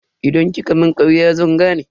Idan kika mun karya zan gane.